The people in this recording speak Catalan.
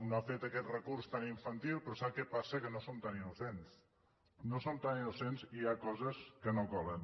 no ha fet aquest recurs tan infantil però sap què passa que no som tan innocents no som tan innocents i hi ha coses que no colen